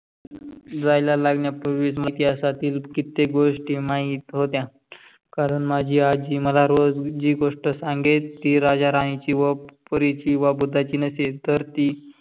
जायला लागण्या पूर्वीच इतिहासातील कित्तेक गोष्ठि माहीत होत्या. कारण माजी आजी मला रोज जी गोस्ठ संगेल टी राज्य राणी व परी वा ची व भुताची नसेल. तर ती